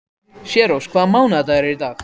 Særós, hvaða mánaðardagur er í dag?